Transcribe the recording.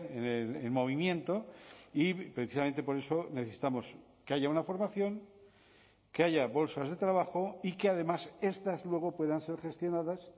en movimiento y precisamente por eso necesitamos que haya una formación que haya bolsas de trabajo y que además estas luego puedan ser gestionadas